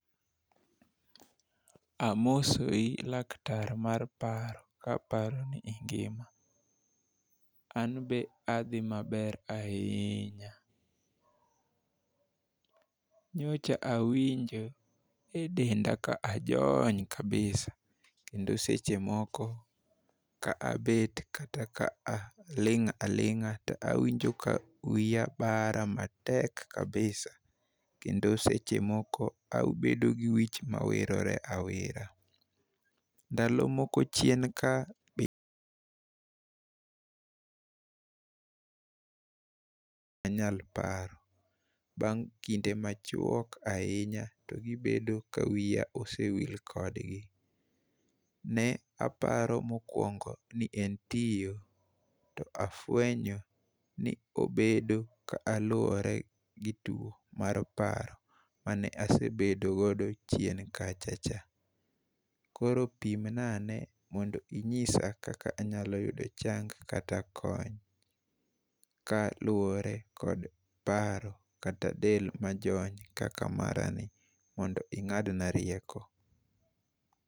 Amosoi laktar mar paro, ka aparo ni ingima. An be adhi maber ahinya. Nyocha awinjo e denda ka ajony kabisa, kendo seche moko ka abet kata ka aling' a lingá to awinjo ka wiya bara matek kabisa, kendo seche moko abedo gi wich ma wirore awira. Ndalo moko chien ka anyal paro. Bang' kinde machwok ahinya, to gibedo ka wiya osewil kodgi. Ne aparo mokwongo ni en tiyo, to afwenyo ni obedo ka luwore gi two mar paro mane asebedo godo chien kachacha. Koro pimna ane mondo inyisa kaka anyalo yudo chang kata kony, kaluwore kod paro, kata del majony kaka mara ni. Mondo ingád na rieko.